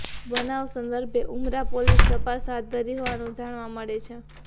બનાવ સંદર્ભે ઉમરા પોલીસ તપાસ હાથ ધરી હોવાનું જાણવા મળે છે